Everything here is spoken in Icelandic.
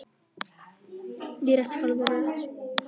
En rétt skal vera rétt.